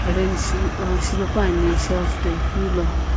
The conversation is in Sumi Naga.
iron shipae pane shelf toikulo.